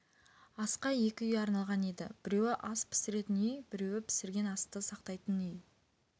асқа екі үй арналған еді біреуі ас пісіретін үй біреуі пісірген асты сақтайтын үй